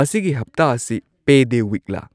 ꯃꯁꯤꯒꯤ ꯍꯞꯇꯥ ꯑꯁꯤ ꯄꯦꯗꯦ ꯋꯤꯛꯂꯥ